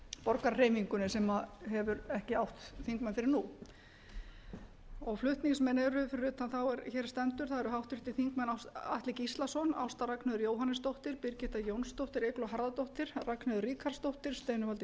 borgarahreyfingunni sem hefur ekki átt þingmenn fyrr en nú flutningsmenn eru fyrir utan þá er hér stendur háttvirtir þingmenn atli gíslason ásta r jóhannesdóttir birgitta jónsdóttir eygló harðardóttir ragnheiður ríkharðsdóttir steinunn valdís